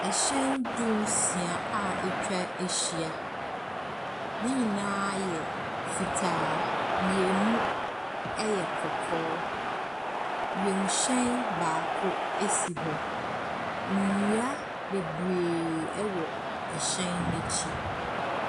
Nhyɛn dunsia a atwa ahyia, ne nyinaa yɛ fitaa, mmienu yɛ kɔkɔɔ, wiemhyɛn baako si hɔ. Nnua bebree wɔ hyɛn no akyi.